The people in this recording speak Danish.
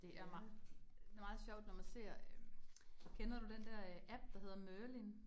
Det er det meget sjovt, når man ser øh kender du den der øh app, der hedder Merlin?